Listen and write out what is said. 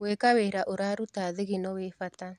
Gwĩka wĩra üraruta thigino wĩbata.